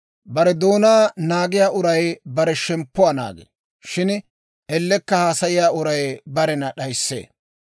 Bare doonaa naagiyaa uray bare shemppuwaa naagee; shin ellekka haasayiyaa uray barena d'ayissee.